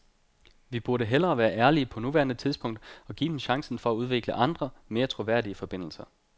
Vi burde hellere være ærlige på nuværende tidspunkt og give dem chancen for at udvikle andre, mere troværdige forbindelser.